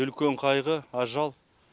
үлкен қайғы ажал